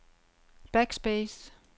backspace